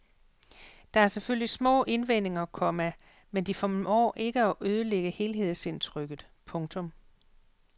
Der er selvfølgelig små indvendinger, komma men de formår ikke at ødelægge helhedsindtrykket. punktum